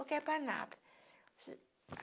Ou quer ir para Anápolis